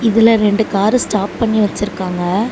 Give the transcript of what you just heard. இதுல ரெண்டு car stop பண்ணி வெச்சிருக்காங்க.